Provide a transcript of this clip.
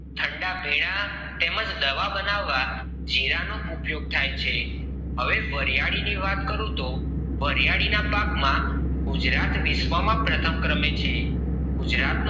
ઠંડા પીણાં તેમજ દવા બનવા જીરા નો ઉપયોગ તહી છે હવે વરિયાળી ની વાત કરું તો વરિયાળી ના પાક માં ગુજરાત વિશ્વ માં પ્રથમ ક્રમે છે ગુજરાત